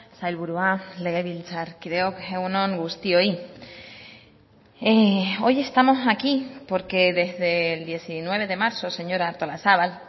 sailburua legebiltzarkideok egun on guztioi hoy estamos aquí porque desde el diecinueve de marzo señora artolazabal